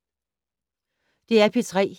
DR P3